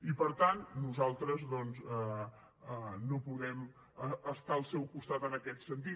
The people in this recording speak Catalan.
i per tant nosaltres doncs no podem estar al seu costat en aquest sentit